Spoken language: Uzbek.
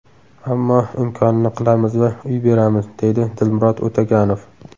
Ammo imkonini qilamiz va uy beramiz, deydi Dilmurod O‘taganov.